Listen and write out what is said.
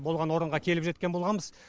болған орынға келіп жеткен болғамыз